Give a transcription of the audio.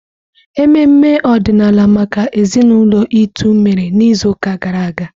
Ememe ọdịnala maka ezinaụlọ Itu mere n'izuụka gara aga.